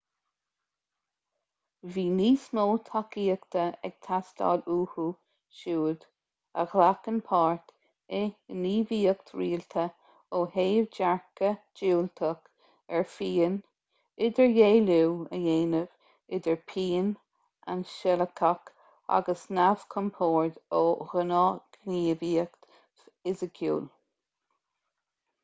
bhí níos mó tacaíochta ag teastáil uathu siúd a ghlacann páirt i ngníomhaíocht rialta ó thaobh dearcadh diúltach ar phian idirdhealú a dhéanamh idir pian ainsealach agus neamhchompord ó ghnáthghníomhaíocht fhisiciúil